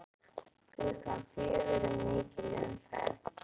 Klukkan fjögur er mikil umferð.